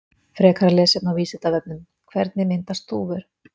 Frekara lesefni á Vísindavefnum: Hvernig myndast þúfur?